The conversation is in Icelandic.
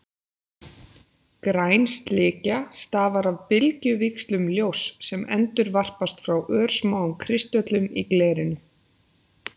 Græn slikja stafar af bylgjuvíxlum ljóss sem endurvarpast frá örsmáum kristöllum í glerinu.